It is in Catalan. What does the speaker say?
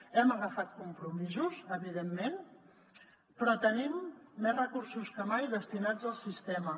hem agafat compromisos evidentment però tenim més recursos que mai destinats al sistema